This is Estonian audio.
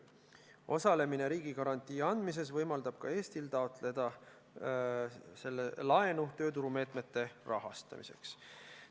Osalemine riigigarantii andmises võimaldab ka Eestil taotleda laenu tööturumeetmete rahastamiseks.